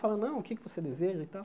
Falei, não, o que é que você deseja e tal.